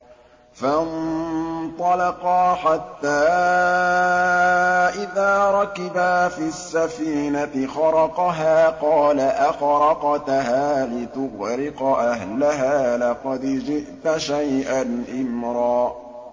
فَانطَلَقَا حَتَّىٰ إِذَا رَكِبَا فِي السَّفِينَةِ خَرَقَهَا ۖ قَالَ أَخَرَقْتَهَا لِتُغْرِقَ أَهْلَهَا لَقَدْ جِئْتَ شَيْئًا إِمْرًا